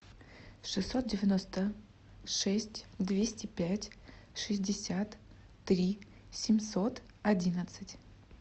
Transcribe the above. шестьсот девяносто шесть двести пять шестьдесят три семьсот одиннадцать